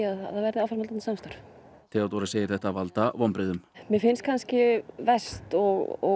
að það verði áframhaldandi samstarf Theodóra segir þetta valda vonbrigðum mér finnst verst og